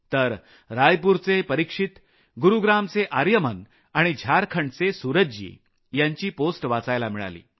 तर रायपूरचे परिक्षित गुरूग्रामचे आर्यमन आणि झारखंडचे सूरजजी यांची पोस्ट वाचायला मिळाली